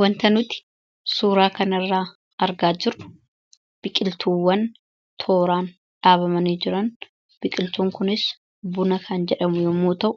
Wanti nuti suuraa kana irraa argaa jirru biqiltuuwwan tooraan dhaabamanii jirani. Biqiltuun kunis Buna kan jedhamu yemmuu ta'u